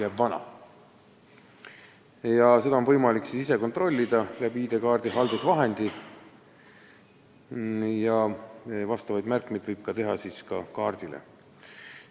Seda kehtivust on võimalik ise kontrollida ID-kaardi haldusvahendi kaudu ja kaardile võib teha ka vastava märke.